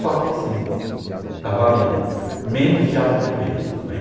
Só que assim, tá valendo, menos diabo vermelho, tudo bem?